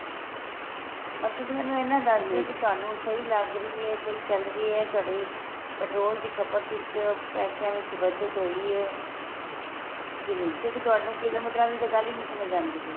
ਬੱਸ ਤੁਸੀਂ ਮੈਨੂੰ ਇਹਨਾ ਦੱਸਦੋ ਕੀ ਤੁਹਾਨੂੰ ਸਹੀਂ ਲੱਗ ਰਹੀ ਏ ਸਹੀਂ ਚੱਲ ਰਹੀ ਏ ਤੁਹਾਡੀ petrol ਦੀ ਖ਼ਪਤ ਵਿੱਚ ਪੈਸਿਆਂ ਵਿੱਚ ਬੱਚਤ ਹੋਈ ਏ ਕੇ ਨਹੀਂ ਕਿਉਂਕਿ ਤੁਹਾਨੂੰ ਕਿਲੋਮੀਟਰਾਂ ਦੀ ਗੱਲ ਹੀ ਨਹੀਂ ਸਮਝ ਆਂਦੀ ਪਈ